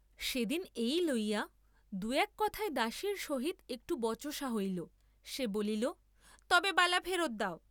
সে দিন এই লইয়া দুই এক কথায় দাসীর সহিত একটু বচসা হইল, সে বলিল তবে বালা ফেরত দাও।